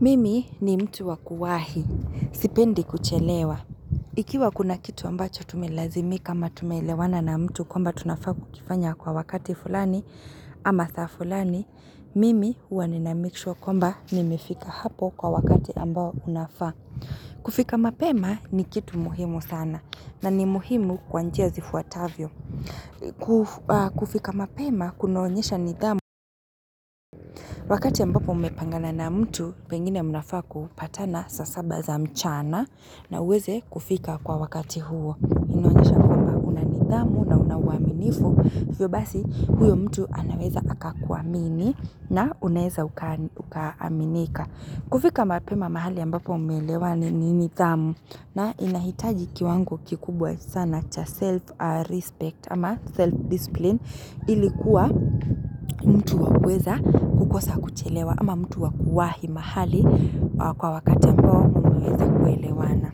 Mimi ni mtu wakuwahi, sipendi kuchelewa. Ikiwa kuna kitu ambacho tumelazimika ama tumeelewana na mtu kwamba tunafaa kukifanya kwa wakati fulani ama saa fulani, mimi huwa ninamikeshua kwamba nimefika hapo kwa wakati ambao unafaa. Kufika mapema ni kitu muhimu sana na ni muhimu kwa njia zifuatavyo. Kufika mapema kunaonyesha nidhamu. Wakati ya ambapo mumepangana na mtu pengine mnafaa kupatana saa saba za mchana na uweze kufika kwa wakati huo. Inaonyesha kwamba unanidhamu na una uaminifu hivyobasi huyo mtu anaweza akakuamini na ueza ukaaminika. Kufika mapema mahali ambapo mumeelewa ni nidhamu na inahitaji kiwango kikubwa sana cha self-respect ama self-discipline ili kuwa mtu wakuweza kukosa kuchelewa ama mtu wakuwahi mahali kwa wakate ambo mmeelewana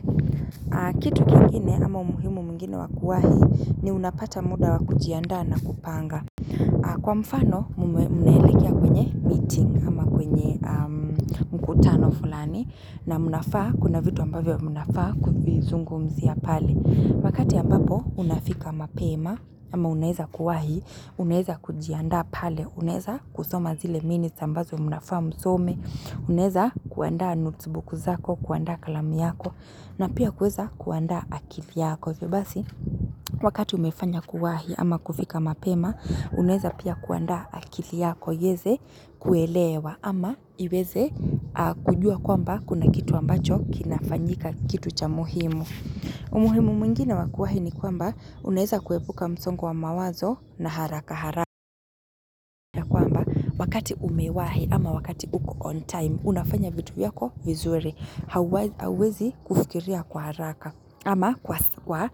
kitu kingine ama umuhimu mwingine wakuwahi ni unapata muda wakujiandaa na kupanga. Kwa mfano munaelekea kwenye meeting ama kwenye mkutano fulani na munafaa kuna vitu ambavyo munafaa kuvizungumzia pale. Wakati ambapo unafika mapema ama uneza kuwahi, uneza kujianda pale, uneza kusoma zile minutes ambazo munafaa msome, uneza kuanda notesbuku zako, kuaanda kalamu yako na pia kuweza kuaanda akili yako wakati umefanya kuwahi ama kufika mapema unweza pia kuandaa akili yako iyeze kuelewa ama iweze kujua kwamba kuna kitu ambacho kinafanyika kitu cha muhimu. Umuhimu mwingine wakuwahi ni kwamba, uneza kuepuka msongo wa mawazo na haraka hara wakati umewahi ama wakati uko on time, unafanya vitu yako vizuri hauwezi kufikiria kwa haraka ama kwa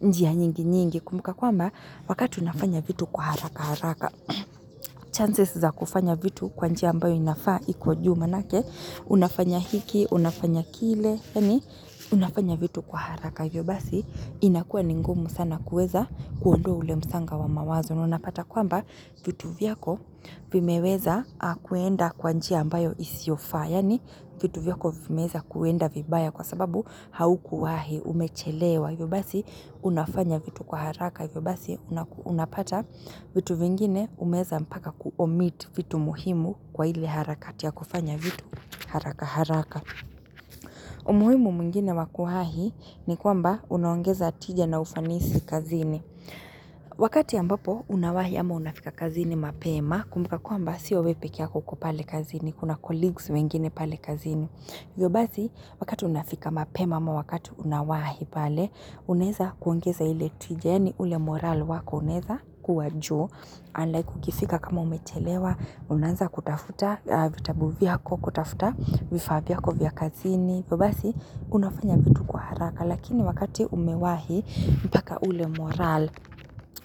njia nyingi nyingi kumbuka kwamba wakati unafanya vitu kwa haraka haraka chances za kufanya vitu kwa njia ambayo inafaa iko juu manake unafanya hiki unafanya kile yani unafanya vitu kwa haraka hivyobasi inakua ningumu sana kuweza kuondo ule msanga wa mawazo. Unapata kwamba vitu viyako vimeweza kuenda kwa njia ambayo isiofaa. Yani vitu vyako vimeweza kwenda vibaya kwa sababu haukuwahi umechelewa. Hivyobasi unafanya vitu kwa haraka hivyobasi unapata vitu vingine umeweza mpaka kuomit vitu muhimu kwa ile harakati ya kufanya vitu haraka haraka. Umuhimu mungine wakuhahi ni kwamba unaongeza tija na ufanisi kazini. Unawahi ama unafika kazini mapema kumbuka kwamba sio wewe peke yako uko pale kazini, kuna colleagues wengine pale kazini. Hivyo basi wakati unafika mapema ama wakati unawahi pale, unweza kuongeza ile tijeni, yani ule moral wako uneza kuwa juu Andai kukifika kama umechelewa Unaanza kutafuta vitabu vyako kutafuta vifaa vyako vya kazini hivyo basi unafanya vitu kwa haraka Lakini wakati umewahi mpaka ule morale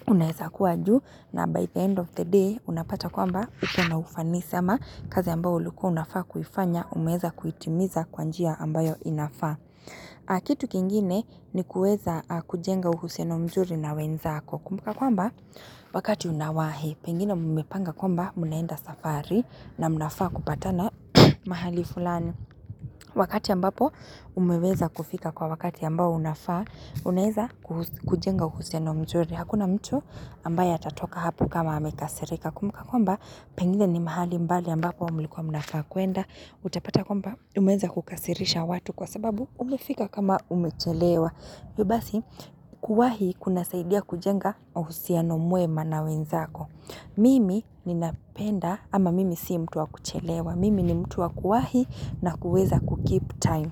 Unaeza kuwa ju na by the end of the day unapata kwamba ukona ufani si ama kazi ambayo ulikuwa unafaa kuifanya umeeza kuitimiza kwa njia ambayo inafaa kitu kingine ni kuweza kujenga uhusiano mzuri na wenzako kumbuka kwamba wakati unawahi pengine mumepanga kwamba munaenda safari na mnafaa kupatana mahali fulani wakati ambapo umeweza kufika kwa wakati ambao unafaa unaeza kujenga uhusiano mzuri Hakuna mtu ambaye atatoka hapo kama amekasirika. Kumbuka kwamba, pengine ni mahali mbali ambapo mlikuwa mnafaa kwenda. Utapata kwamba, umeeza kukasirisha watu kwa sababu umefika kama umechelewa. Hivyo basi, kuwahi kuna saidia kujenga uhusiano mwema na wenzako. Mimi ni napenda, ama mimi sii mtu wa kuchelewa. Mimi ni mtu wa kuwahi na kuweza kukeep time.